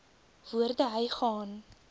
woorde hy gaan